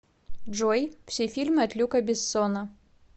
джой все фильмы от люка бессона